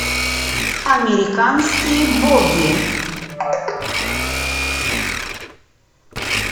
американские боги